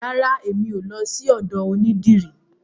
Rara, emi o lọ sí ọ̀dọ onídìrí.